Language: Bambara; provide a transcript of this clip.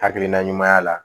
Hakilina ɲuman y'a la